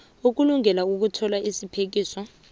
ukulungela ukuthola isiphekiso